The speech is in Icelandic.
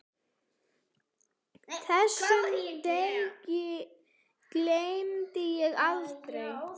Þessum degi gleymi ég aldrei.